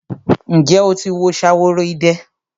Ǹjẹ́ o ti wo Ṣaworoide?